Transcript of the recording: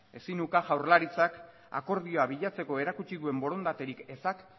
ezin uka jaurlaritzak akordioa bilatzeko erakutsi duen borondaterik ezak